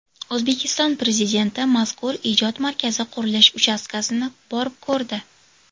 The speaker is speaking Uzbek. O‘zbekiston Prezidenti mazkur ijod markazi qurilish uchastkasini borib ko‘rdi.